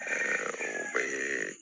o bɛ